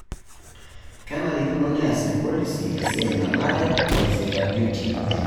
Kenarikino neas irpolisi esia nanare easita duti enye.